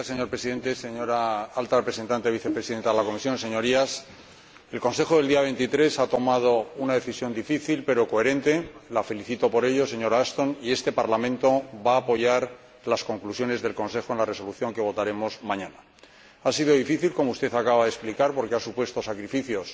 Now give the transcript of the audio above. Señor Presidente, señora Vicepresidenta de la Comisión Alta Representante de la Unión, Señorías, el Consejo del día 23 ha tomado una decisión difícil, pero coherente —la felicito por ello, señora Ashton—, y este Parlamento va a apoyar las conclusiones del Consejo en la resolución que votaremos mañana. Ha sido difícil, como usted acaba de explicar, porque ha supuesto sacrificios